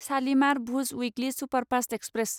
Shalimar Bhuj weekly superfast express